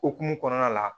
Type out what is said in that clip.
Okumu kɔnɔna la